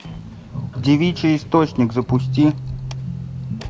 девичий источник запусти